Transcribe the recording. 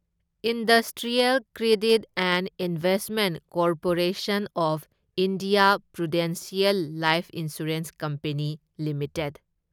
industrial Credit and Investment Corporation of India Prudential Life Insurance Company limited